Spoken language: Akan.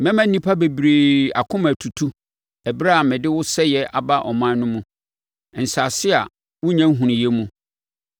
Mɛma nnipa bebree akoma atutu ɛberɛ a mede wo sɛeɛ aba aman no mu, nsase a wonnya nhunuiɛ mu.